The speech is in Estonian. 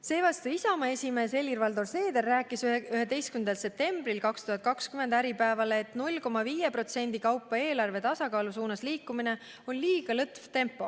Seevastu Isamaa esimees Helir-Valdor Seeder rääkis 11. septembril 2020 Äripäevale, et 0,5% kaupa eelarve tasakaalu suunas liikumine on liiga lõtv tempo.